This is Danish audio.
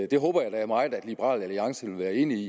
det håber jeg da meget at liberal alliance vil være enig i